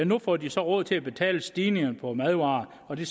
nu får de så råd til at betale stigningerne på madvarer og det